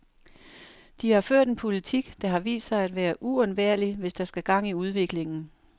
De har ført en politik, der har vist sig at være uundværlig, hvis der skal gang i udviklingen.